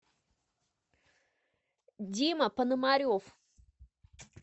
дима пономарев